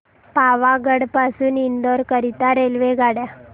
पावागढ पासून इंदोर करीता रेल्वेगाड्या